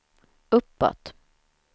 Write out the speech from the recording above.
uppåt